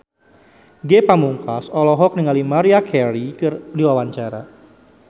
Ge Pamungkas olohok ningali Maria Carey keur diwawancara